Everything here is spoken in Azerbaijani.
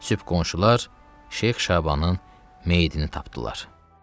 Sübh qonşular Şeyx Şabanın meyidini tapdılar.